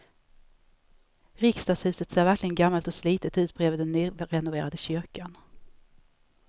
Riksdagshuset ser verkligen gammalt och slitet ut bredvid den nyrenoverade kyrkan.